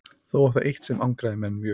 þó var það eitt sem angraði menn mjög